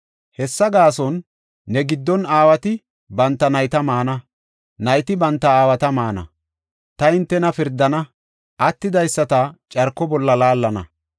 Hessa gaason, ne giddon aawati banta nayta maana; nayti banta aawata maana. Ta hintena pirdana; attidaysata carko bolla laallana.